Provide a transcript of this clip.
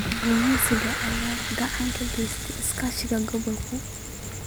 Kalluumeysiga ayaa gacan ka geysta iskaashiga gobolka.